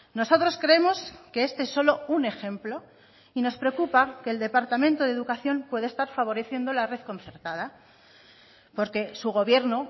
nosotros creemos que este solo un ejemplo y nos preocupa que el departamento de educación pueda estar favoreciendo la red concertada porque su gobierno